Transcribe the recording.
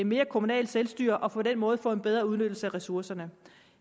mere kommunalt selvstyre og på den måde få en bedre udnyttelse af ressourcerne